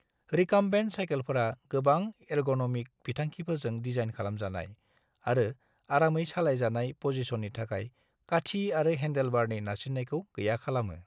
Recumbent सायखेलफोरा गोबां ergonomic बिथांखिफोरजों दिजाइन खालामजानाय आरो आरामै सालायजानाय पजिसननि थाखाय काठी आरो हेंदेलबारनि नारसिन्नायखौ गैया खालामो।